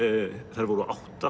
þær voru átta